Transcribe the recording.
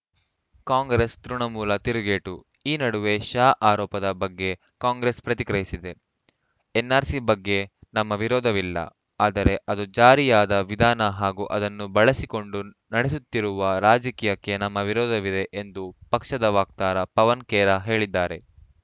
ಕಾಂಗ್ರೆಸ್‌ ತೃಣಮೂಲ ತಿರುಗೇಟು ಈ ನಡುವೆ ಶಾ ಆರೋಪದ ಬಗ್ಗೆ ಕಾಂಗ್ರೆಸ್‌ ಪ್ರತಿಕ್ರಿಯಿಸಿದೆ ಎನ್‌ಆರ್‌ಸಿ ಬಗ್ಗೆ ನಮ್ಮ ವಿರೋಧವಿಲ್ಲ ಆದರೆ ಅದು ಜಾರಿಯಾದ ವಿಧಾನ ಹಾಗೂ ಅದನ್ನು ಬಳಸಿಕೊಂಡು ನಡೆಸುತ್ತಿರುವ ರಾಜಕೀಯಕ್ಕೆ ನಮ್ಮ ವಿರೋಧವಿದೆ ಎಂದು ಪಕ್ಷದ ವಕ್ತಾರ ಪವನ್‌ ಖೇರಾ ಹೇಳಿದ್ದಾರೆ